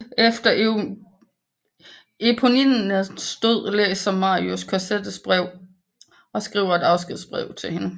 Efter Éponines død læser Marius Cosettes brev og skriver et afskedsbrev til hende